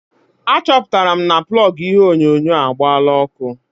Achọpụtara m na plọgụ ihe onyonyo agbaala ọkụ.